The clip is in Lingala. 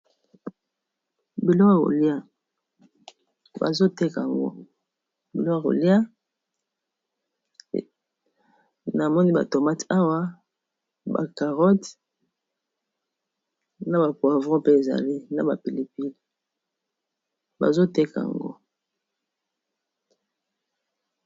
biloko ya kolia bazo teka yango biloko ya kolia na moni ba tomate awa ba carote na ba poivron mpe ezali na ba pili-pili bazoteka yango.